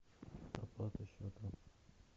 оплата счета